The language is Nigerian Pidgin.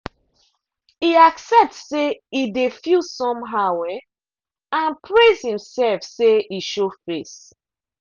e accept say e dey feel somehow um and praise himself say e show face.